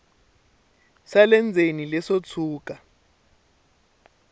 swa le ndzeni leswo tshuka